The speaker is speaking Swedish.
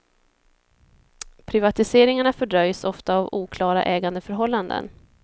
Privatiseringarna fördröjs ofta av oklara ägandeförhållanden.